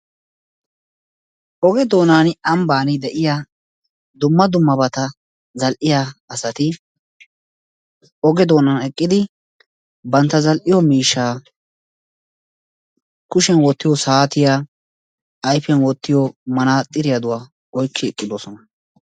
Oge doonan ambban deiya dumma dummabata zal'iyaa asati ogee doonan eqqidi bantta zal'iyo miishshaa kushiyan wottiyo saatiyaa, ayfiyan wottiyo manaxiriyaduwa oyqqi uttidosona.